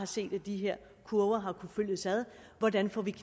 set at de her kurver har fulgtes ad hvordan får vi